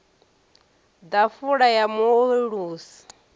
ḓafula ya mu o ulusi